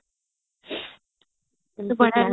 କେତେ